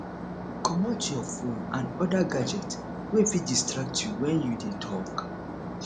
comot your phone and other gadget wey fit distract you when you dey talk